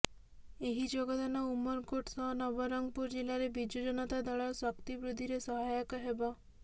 ଏହି ଯୋଗଦାନ ଉମରକୋଟ ସହ ନବରଙ୍ଗପୁର ଜିଲ୍ଲାରେ ବିଜୁ ଜନତା ଦଳର ଶକ୍ତି ବୃଦ୍ଧିରେ ସହାୟକ ହେବ